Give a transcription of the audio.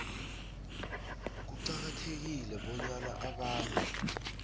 kuqakathekile bonyana abantu